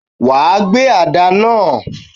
Wàá gbé àdá náà.